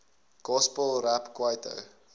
gospel rap kwaito